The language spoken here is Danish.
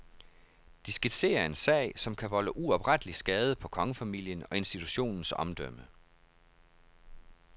Det skitserer en sag, som kan volde uoprettelig skade på kongefamilien og institutionens omdømme.